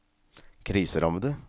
kriserammede